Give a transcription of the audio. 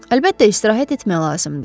Əlbəttə, istirahət etmək lazımdır.